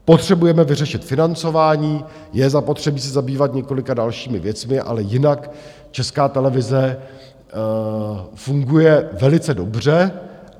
Potřebujeme vyřešit financování, je zapotřebí se zabývat několika dalšími věcmi, ale jinak Česká televize funguje velice dobře.